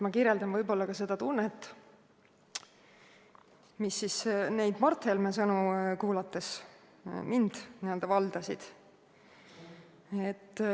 Ma kirjeldan seda tunnet, mis mind valdasid neid Mart Helme sõnu kuulates.